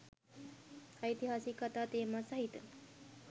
ඓතිහාසික කථා තේමා සහිත